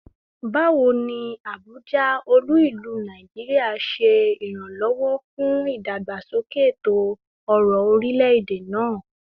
Bawo ni Abuja, olu-ilu Naijiria, ṣe iranlọwọ fun idagbasoke eto-ọrọ orilẹ-ede naa?